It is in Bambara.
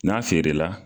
N'a feerela